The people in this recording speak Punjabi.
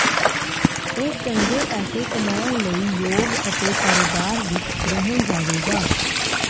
ਇਹ ਚੰਗੇ ਪੈਸੇ ਕਮਾਉਣ ਲਈ ਯੋਗ ਅਤੇ ਕਾਰੋਬਾਰ ਵਿੱਚ ਰਹਿਣ ਜਾਵੇਗਾ